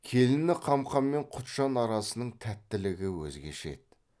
келіні қамқа мен құтжан арасының тәттілігі өзгеше еді